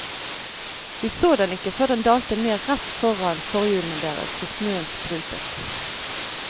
De så den ikke før den dalte ned rett foran forhjulene deres, så snøen sprutet.